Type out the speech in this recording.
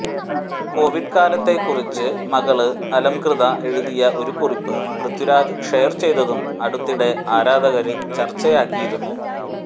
Covid കാലത്തെ കുറിച്ച് മകള് അലംകൃത എഴുതിയ ഒരു കുറിപ്പ് പൃഥ്വിരാജ് ഷെയര് ചെയ്തും അടുത്തിടെ ആരാധകര് ചര്ച്ചയാക്കിയിരുന്നു